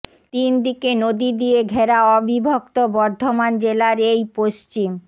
তিন দিকে নদী দিয়ে ঘেরা অবিভিক্ত বর্ধমান জেলার এই পশ্চিম